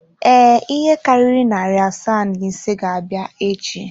Ee, ihe karịrị narị asaa na ise ga-abịa echi.